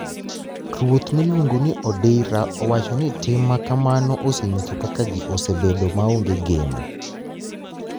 Ruoth miluonigo nii Odira owacho nii tim makamano oseniyiso kaka jii osebedo maonige geno